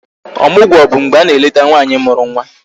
Ọmụgwọ bụ mgbe a na-eleta nwaanyị mụrụ nwa